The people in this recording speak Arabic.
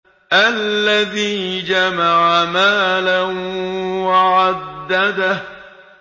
الَّذِي جَمَعَ مَالًا وَعَدَّدَهُ